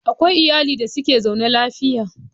Akwai iyali da suke zaune lafiya.